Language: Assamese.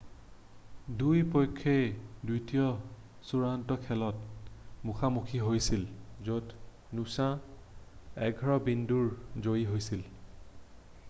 2 পক্ষই দ্বিতীয় চূড়ান্ত খেলত মুখা মুখী হৈছিল য'ত নুছাঁ 11 বিন্দুৰে জয়ী হৈছিল